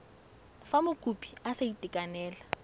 fa mokopi a sa itekanela